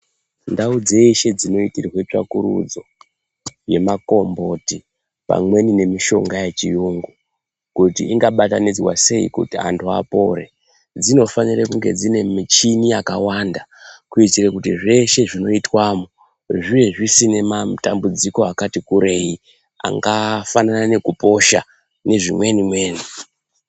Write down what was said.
Ndau dzeshe dzino itirwe tsvakurudzo ne makomboti pamweni ne mishonga yechi yungu kuti inga batanidzwa sei kuti antu apore dzino fanire kunge dzine michini yakawanda kuitire kuti zveshe zvinoitwamo zvive zvisine matambudziko akati kurei anga fanana neku posha ne zvimweni mweni.